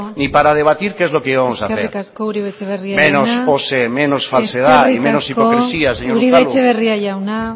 ni para debatir que es lo que íbamos a hacer menos pose menos falsedad y menos hipocresía señor unzalu uribe etxebarria jauna